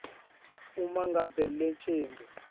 uma ngabe licembu